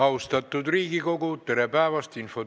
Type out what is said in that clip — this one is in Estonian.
Austatud Riigikogu, tere päevast!